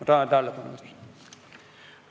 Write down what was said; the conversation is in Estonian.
Tänan tähelepanu eest!